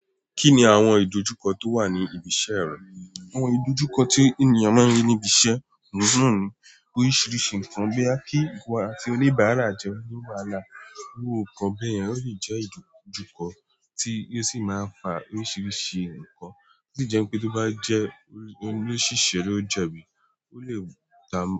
Kí ni àwọn ìdojúkọ tó wà ní ibi iṣẹ́ rẹ? Àwọn ìdojúkọ tí ènìyàn máa ń rí ní ibi iṣẹ́ oun na ni oríṣiríṣi nǹkan, boya kí ìwo àti oníbàárà jo ní wàhálà. Iru nkan bẹ́yẹ̀n, ó lè jẹ́ ìdojúkọ tí ó sì máa ń fa oríṣiríṣi nǹkan, tó sì jẹ́ wipé tó bá jẹ́ o òṣìṣẹ́ lo jebí, ó lè dà-